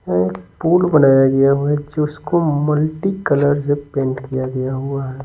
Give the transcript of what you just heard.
यहां एक पूल बनाया गया हुआ है जिसको मल्टीकलर से पेंट किया गया हुआ है।